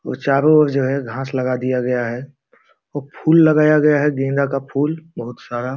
और चारो ओर जो है घास लगा दिया गया है व फूल लगाया गया है गेंदा का फूल बहुत सारा --